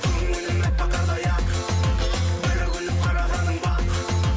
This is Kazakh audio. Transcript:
көңілім әппақ қардай ақ бір күліп қарағаның бақ